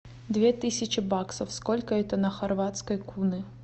две тысячи баксов сколько это на хорватской куны